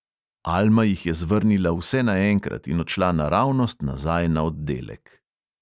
Alma jih je zvrnila vse naenkrat in odšla naravnost nazaj na oddelek.